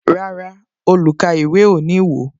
Rárá, olukaiwe o ní wo